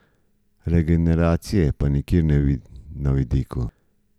Regeneracije pa nikjer na vidiku.